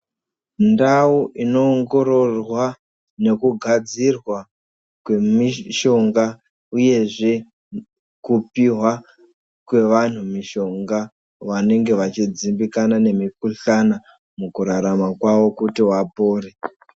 Ndau inoongororwa nekugadzirwa kwemishonga uyezve kupihwa kwevanhu mishonga vanonge vachidzimbikana nemikhuhlana mukurarama kwawo kuti vapore.